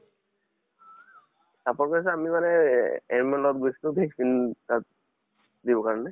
support কৰিছো আমি মা-নে এহ AM ৰ লগত গৈছিলো vaccine তাত দিবৰ কাৰণে।